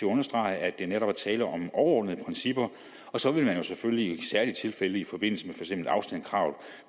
understrege at der netop er tale om overordnede principper og så vil man selvfølgelig i særlige tilfælde i forbindelse med afstandskrav